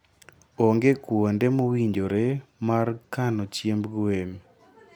Onge kuonde mowinjore mar kano chiemb gwen.